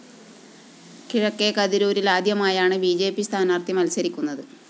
കിഴക്കെ കതിരൂരില്‍ ആദ്യമായാണ് B J P സ്ഥാനാര്‍ത്ഥി മത്സരിക്കുന്നത്